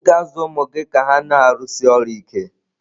Ị̀ ga-azụ ụmụ gị ka ha na-arụsi ọrụ ike?